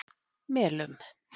Melum